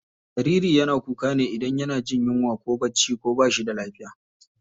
Jariri yana kuka ne idan yana jin yunwa ko bacci ko bashi da lafiya.